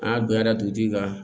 Aa donyara dugutigi ka